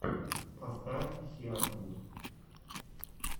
поставь хиартвуд